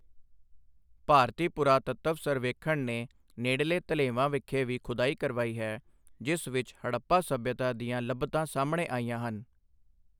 ਭਾਰਤੀ ਪੁਰਾਤੱਤਵ ਸਰਵੇਖਣ ਨੇ ਨੇੜਲੇ ਧਲੇਵਾਂ ਵਿਖੇ ਵੀ ਖੁਦਾਈ ਕਰਵਾਈ ਹੈ ਜਿਸ ਵਿੱਚ ਹੜੱਪਾ ਸਭਿਅਤਾ ਦੀਆਂ ਲੱਭਤਾਂ ਸਾਹਮਣੇ ਆਈਆਂ ਹਨ।